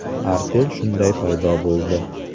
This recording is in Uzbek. Artel shunday paydo bo‘ldi.